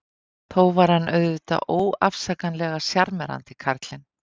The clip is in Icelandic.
Þó var hann auðvitað óafsakanlega sjarmerandi, karlinn.